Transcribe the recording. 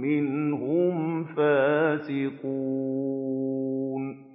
مِّنْهُمْ فَاسِقُونَ